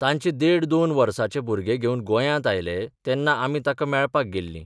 ताचें देड दोन वर्सांचें भुरंगें घेवन गोंयांत आयलें तेन्ना आमी ताका मेळपाक गेल्लीं.